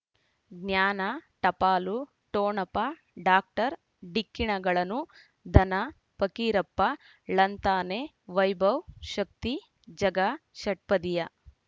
ಜ್ಞಾನ ಟಪಾಲು ಠೊಣಪ ಡಾಕ್ಟರ್ ಢಿಕ್ಕಿ ಣಗಳನು ಧನ ಫಕೀರಪ್ಪ ಳಂತಾನೆ ವೈಭವ್ ಶಕ್ತಿ ಝಗಾ ಷಟ್ಪದಿಯ